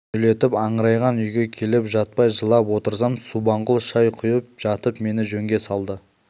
түнделетіп аңырайған үйге келіп жатпай жылап отырсам субанқұл шай құйып жатып мені жөнге салды